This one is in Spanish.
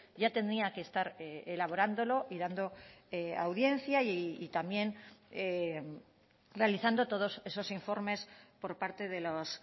ya tenía que estar elaborándolo y dando audiencia y también realizando todos esos informes por parte de los